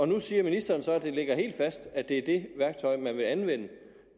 nu siger ministeren så at det ligger helt fast at det er det værktøj man vil anvende